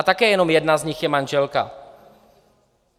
A také jenom jedna z nich je manželka.